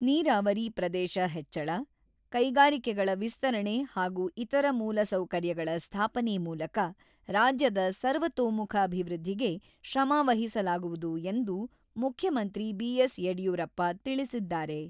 ನೀರಾವರಿ ಪ್ರದೇಶ ಹೆಚ್ಚಳ, ಕೈಗಾರಿಕೆಗಳ ವಿಸ್ತರಣೆ ಹಾಗೂ ಇತರ ಮೂಲಸೌಕರ್ಯಗಳ ಸ್ಥಾಪನೆ ಮೂಲಕ ರಾಜ್ಯದ ಸರ್ವತೋಮುಖ ಅಭಿವೃದ್ಧಿಗೆ ಶ್ರಮ ವಹಿಸಲಾಗುವುದು ಎಂದು ಮುಖ್ಯಮಂತ್ರಿ ಬಿ.ಎಸ್.ಯಡಿಯೂರಪ್ಪ ತಿಳಿಸಿದ್ದಾರೆ.